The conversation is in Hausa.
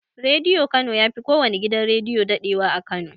Rediyo kano yafi kowanne gidan rediyo daɗewa a kano